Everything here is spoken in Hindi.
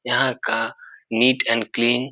यहाँ का नीट एंड क्लीन --